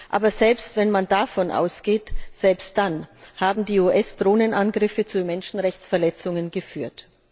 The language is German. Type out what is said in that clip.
Aber auch wenn man davon ausgeht, selbst dann haben die US Drohnenangriffe zu Menschenrechtsverletzungen geführt.